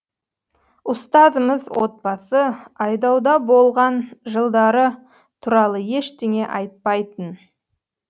ұстазымыз отбасы айдауда болған жылдары туралы ештеңе айтпайтын